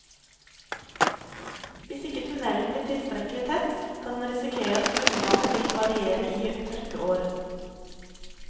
Hvis ikke tunnelen blir tilstrekkelig tett, kan en risikere at grunnvannet vil variere i tørkeår.